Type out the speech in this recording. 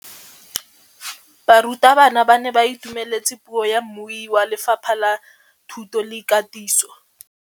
Barutabana ba ne ba itumeletse puô ya mmui wa Lefapha la Thuto le Katiso.